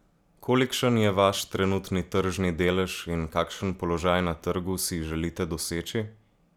Kolikšen je vaš trenutni tržni delež in kakšen položaj na trgu si želite doseči?